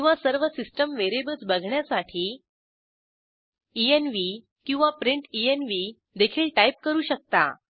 किंवा सर्व system variables बघण्यासाठी एन्व्ह किंवा प्रिंटेन्व्ह देखील टाईप करू शकता